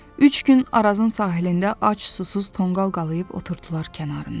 Üç gün Arazın sahilində ac, susuz, tonqal qalayib oturdular kənarında.